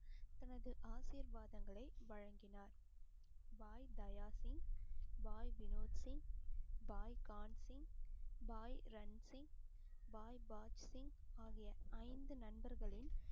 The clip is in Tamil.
தனது ஆசீர்வாதங்களை வழங்கினார் பாய் தயாசின், பாய் வினோத் சிங், பாய் கான்சிங், பாய் ரன்சிங், பாய்சிங் ஆகிய ஐந்து நண்பர்களின்